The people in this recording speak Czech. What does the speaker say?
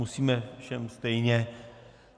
Musíme všem stejně.